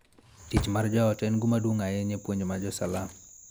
Tich mar joot en gima duong� ahinya e puonj mag Salam.